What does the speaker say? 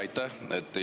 Aitäh!